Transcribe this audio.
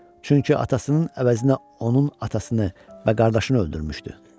Çünki atasının əvəzinə onun atasını və qardaşını öldürmüşdü.